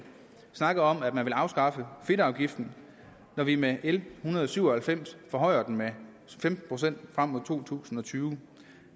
snakker om at man vil afskaffe fedtafgiften når vi med l en hundrede og syv og halvfems forhøjer den med femten procent frem mod to tusind og tyve